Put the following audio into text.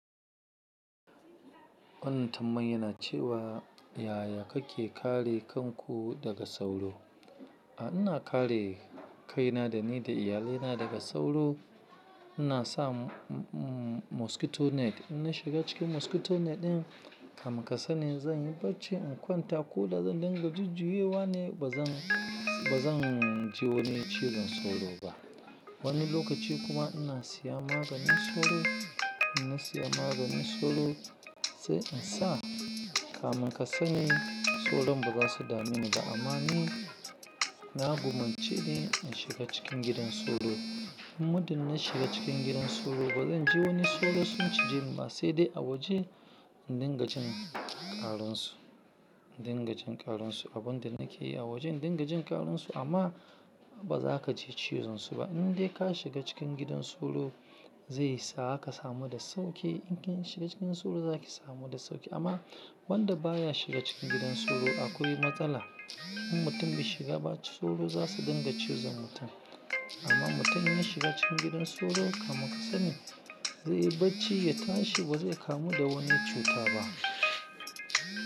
Wannan tambayan yana cewa yaya kake kare kanku daga sauro? A ina kare kaina da ni da iyalina daga sauro. Ina sa mosquito net, ina shiga cikin mosquito net din. Kaman kasani zan yi bacci in kwanta ko da zan dinga jujjuye wane, ba zan, ba zan ji wani cizon sauro ba. Wani lokaci kuma ina siya maganin sauro, ina siya maganin sauro sai in sa. Kaman kasani sauron ba za su damu ni da amani. Na gumaci in shiga cikin gidan sauro. Muddin na shiga cikin gidan sauro ba zan ji wani sauro sun cije ni ba, sai dai a waje dingajin ƙaransu, dingajin ƙaransu. Abun da nake yi a wajen dingajin ƙaransu amma ba za ka ji cizon su ba. In dai ka shiga cikin gidan sauro zai sa ka samu da sauƙi. In kin shiga cikin sauro za ki samu da sauƙi. Amma wanda baya shiga cikin gidan sauro akwai matsala. In mutum bai shiga ba sauro za su dinga cizon mutum. Amma mutum ya shiga cikin gidan sauro kamar kasani zai yi bacci, ya tashi ba zai kamu da wani cuta ba.